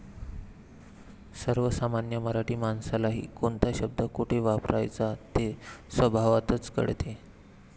सर्वसामान्य मराठी माणसालाही कोणता शब्द कोठे वापरावयाचा ते स्वभावतःच कळते.